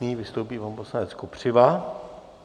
Nyní vystoupí pan poslanec Kopřiva.